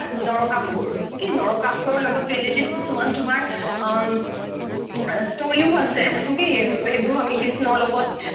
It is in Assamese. নৰকাসূৰ কি নৰকাসূৰৰ লগত relative কিছুমান তোমাৰ আ story ও আছে সেইবোৰো আমি কৃষ্ণৰ লগত